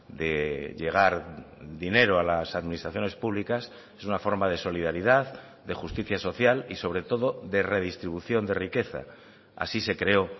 de llegar dinero a las administraciones públicas es una forma de solidaridad de justicia social y sobre todo de redistribución de riqueza así se creó